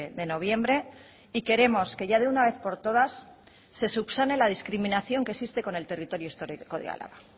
de noviembre y queremos que ya de una vez por todas se subsane la discriminación que existe con el territorio histórico de álava